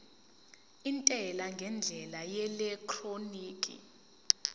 intela ngendlela yeelektroniki